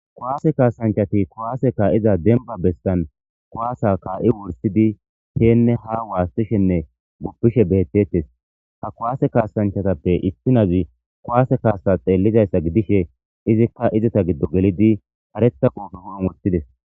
Kuwaase kaasanchati kuwaase kaa7iza demba bestan kuwaasa kaa7i wursidi heenne ha waastishenne guppishe beettettes. ha kuwaase kaasanchatappe issinazi kuwaase kaasa xeellizayssa gidishe izikka izita giddo gelidi kareta quufe hu7un wottides.